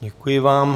Děkuji vám.